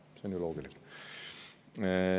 See on ju loogiline.